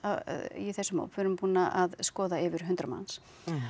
í þessum hóp við erum búin að skoða yfir hundrað manns